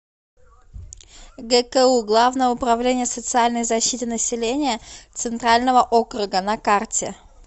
гку главное управление социальной защиты населения центрального округа на карте